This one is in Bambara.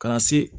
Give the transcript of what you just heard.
Ka na se